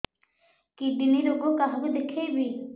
kidney ରୋଗ କାହାକୁ ଦେଖେଇବି